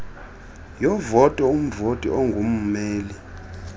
yovoto umvoti ongummeli